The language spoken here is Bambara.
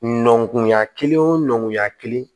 Nɔnkunya kelen wo kelen